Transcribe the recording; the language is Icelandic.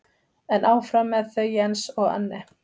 En áfram með þau Jens og Anne.